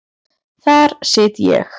Þar sit ég.